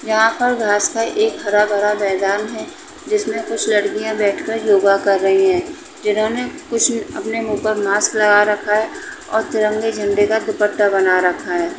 यहाँं पर घाँस का एक हरा-भरा मैदान है जिसमें कुछ लड़कियां बैठकर योगा कर रहीं हैं जिन्होने कुछ अपने ऊपर मास्क लगा रखा है और तिरंगे झंडे का दुपट्टा बना रखा है।